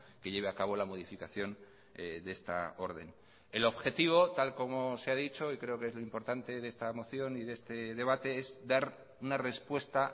que lleve a cabo la modificación de esta orden el objetivo tal como se ha dicho y creo que es lo importante de esta moción y de este debate es dar una respuesta